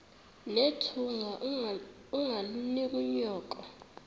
nethunga ungalinik unyoko